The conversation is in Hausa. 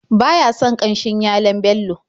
Ba ya son ƙanshin yalon Bello.